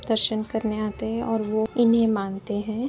दर्शन करने आते हैं और वो इन्हें मानते हैं।